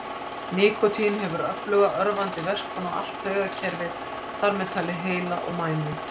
Nikótín hefur öfluga örvandi verkun á allt taugakerfið, þar með talið heila og mænu.